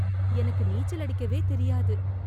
எனக்கு நீச்சல் அடிக்கவே தெரியாது